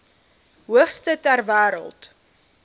hoogste ter wêreld